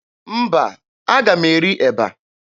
Mba, aga m eri eba.